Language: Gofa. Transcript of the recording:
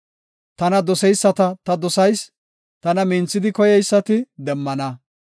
Tana doseyisata ta dosayis; tana minthidi koyeysati demmana.